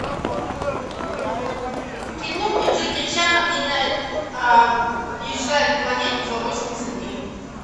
кино где джеки чан объезжает планету за восемьдесят дней